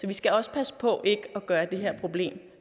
vi skal også passe på ikke at gøre det her problem